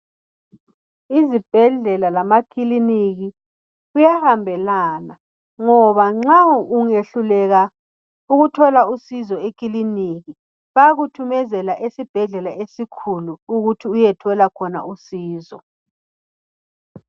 IZibhedlela lamaKiliniki kuyahambelana ngoba nxa ungehluleka ukuthola usizo ekiliniki bayakuthumezela esibhedlela esikhulu ukuthi uyethola khona usizo.